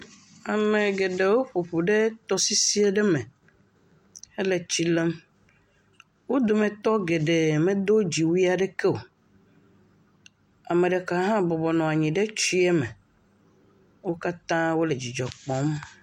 Ame geɖewo ƒoƒu ɖe tɔsisi aɖe me. Wo dometɔ geɖewo me do dziwuie aɖeke o. Ame ɖeka hã bɔbɔ nɔ anyi ɖe tsia me. Wo katã wò le dzidzɔ kpɔm.